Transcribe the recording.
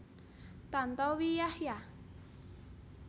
Tantowi Yahya